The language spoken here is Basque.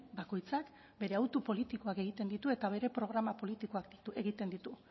bakoitzak bere autu politikoak egiten ditu eta bere programa politikoak egiten ditu